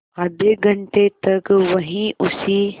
आधे घंटे तक वहीं उसी